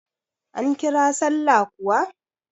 An kira sallah kuwa?